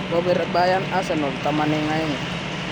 Kobir Beryern Arsenal taman eng aeng